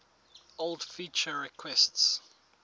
old feature requests